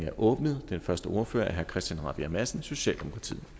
er åbnet den første ordfører er herre christian rabjerg madsen socialdemokratiet